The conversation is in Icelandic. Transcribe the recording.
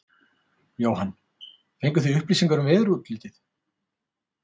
Jóhann: Fenguð þið upplýsingar um veðurútlitið?